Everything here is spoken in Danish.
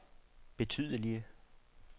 betydelige